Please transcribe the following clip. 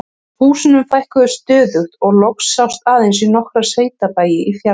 Húsunum fækkaði stöðugt og loks sást aðeins í nokkra sveitabæi í fjarlægð.